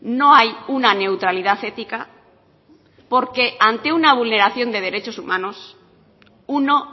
no hay una neutralidad ética porque ante una vulneración de derechos humanos uno